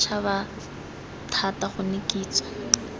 fe setšhaba thata gonne kitso